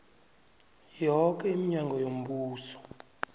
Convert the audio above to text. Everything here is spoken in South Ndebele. yoke iminyango yombuso